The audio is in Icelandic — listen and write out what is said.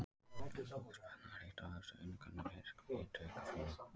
Boðspenna er eitt af helstu einkennum í virkni taugafrumna.